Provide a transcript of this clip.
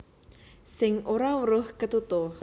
Sing ora weruh ketutuh